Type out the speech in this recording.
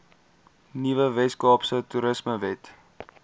nuwe weskaapse toerismewet